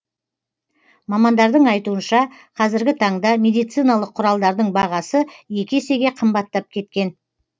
мамандардың айтуынша қазіргі таңда медициналық құралдардың бағасы екі есеге қымбаттап кеткен